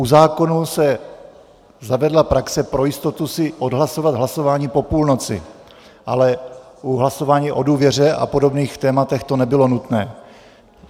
U zákonů se zavedla praxe pro jistotu si odhlasovat hlasování po půlnoci, ale u hlasování o důvěře a podobných témat to nebylo nutné.